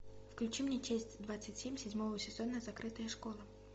включи мне часть двадцать семь седьмого сезона закрытая школа